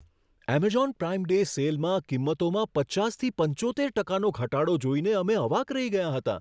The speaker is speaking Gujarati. એમેઝોન પ્રાઈમ ડે સેલમાં કિંમતોમાં પચાસથી પંચોતેર ટકાનો ઘટાડો જોઈને અમે અવાક રહી ગયા હતા.